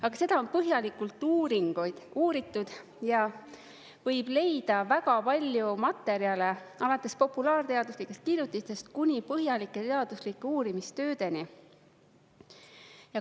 Aga seda on põhjalikult uuritud ja võib leida väga palju materjale, alates populaarteaduslikest kirjutistest kuni põhjalike teaduslike uurimistöödeni.